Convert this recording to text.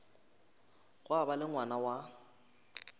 gwa ba le ngwana wa